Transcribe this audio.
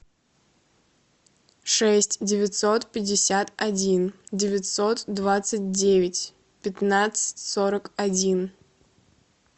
шесть девятьсот пятьдесят один девятьсот двадцать девять пятнадцать сорок один